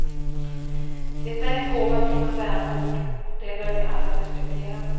Det är en gåva från en vänort, och det bör vi alla respektera.